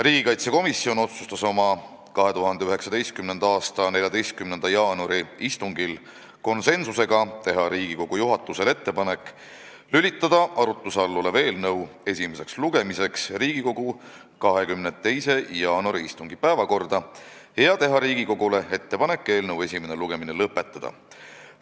Riigikaitsekomisjon otsustas oma 2019. aasta 14. jaanuari istungil konsensuslikult, et tehakse Riigikogu juhatusele ettepanek lülitada arutluse all olev eelnõu esimeseks lugemiseks Riigikogu 22. jaanuari istungi päevakorda ja Riigikogule tehakse ettepanek eelnõu esimene lugemine lõpetada.